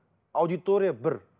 аудитория бір